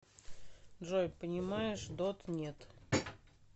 джой понимаешь дот нет